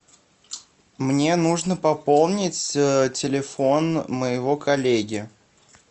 мне нужно пополнить телефон моего коллеги